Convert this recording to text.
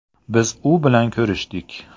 Biz u bilan ko‘rishdik.